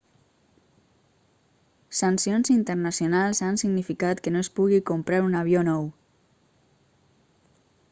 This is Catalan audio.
sancions internacionals han significat que no es pugui comprar un avió nou